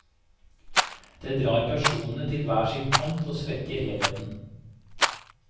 Det drar personene til hver sin kant og svekker helheten.